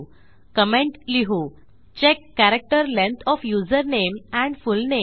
comment लिहू check char length of username and full name